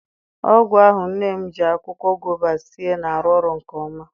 Ọgwụ ahụ nne m ji akwụkwọ gova sie na-arụ ọrụ nke ọma.